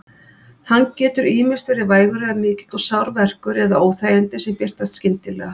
Hann getur ýmist verið vægur eða mikill og sár verkur eða óþægindi sem birtast skyndilega.